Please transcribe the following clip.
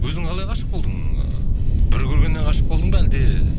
өзің қалай ғашық болдың ыыы бір көргеннен ғашық болдың ба әлде